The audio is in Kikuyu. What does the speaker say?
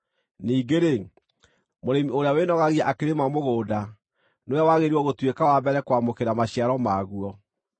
Ningĩ-rĩ, mũrĩmi ũrĩa wĩnogagia akĩrĩma mũgũnda nĩ we wagĩrĩirwo gũtuĩka wa mbere kwamũkĩra maciaro maguo.